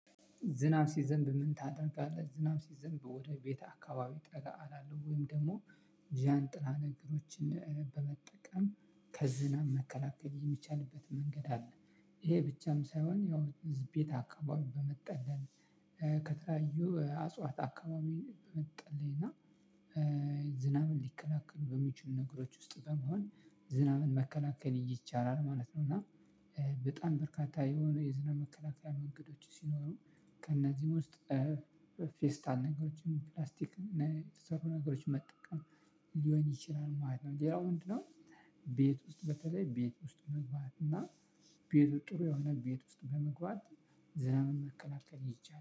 ዝናብ ሲዘንብ ምን ታደርጋለህ? ዝናብ ሲዘንብ ወደ ቤተ አካባቢ ጠጋ እላለው ወይም ደግሞ ጃንጥላ ነገሮችን በመጠቀም ከዝናብ መከላከል የሚቻልበት መንገድ አለ። ይሄ ብቻም ሳይሆን ያው ህዝብ ቤት አከባቢ በመጠለል ከተለያዩ አጽዋት አከባቢ በመጠለይ እና ዝናብን ሊከላከሉ በሚችሉ ነገሮች ውስጥ በመሆን ዝናብን መከላከል ይቻላል። ማለት ነው። እና በጣም በርካታ የሆኑ የዝናብ መከላከያ መንገዶች ሲኖሩ ከእነዚህም ውስጥ ፌስታል ነገሮችን ፕላስቲክ የተሰሩ ነገሮችን መጠቀም ሊሆን ይችላል ማለት ነው። ሌላው ምንድን ነው? ቤት ውስጥ በተለይ ቤት ውስጥ መግባት እና ጥሩ የሆነ ቤት ውስጥ በመግባት ዝናብን መከላከል ይቻላል